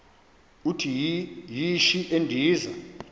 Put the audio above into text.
uthi yishi endiza